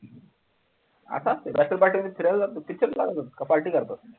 आता त्याला party ला फिरायला जातात की picture पाहतात party करतात